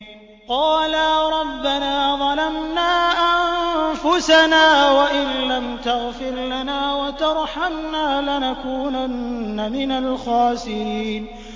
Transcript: قَالَا رَبَّنَا ظَلَمْنَا أَنفُسَنَا وَإِن لَّمْ تَغْفِرْ لَنَا وَتَرْحَمْنَا لَنَكُونَنَّ مِنَ الْخَاسِرِينَ